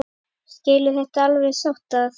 Skilduð þið alveg sáttir?